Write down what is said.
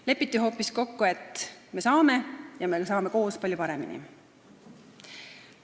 Lepiti hoopis kokku, et me saame ja me saame koos palju paremini.